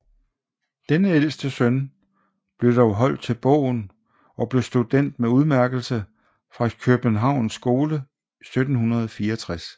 Denne ældste søn blev dog holdt til bogen og blev student med udmærkelse fra Kjøbenhavns Skole 1764